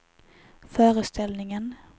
föreställningen